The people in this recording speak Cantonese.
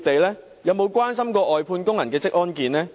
他們有否關心外判工人的職安健？